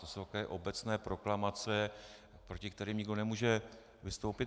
To jsou takové obecné proklamace, proti kterým nikdo nemůže vystoupit.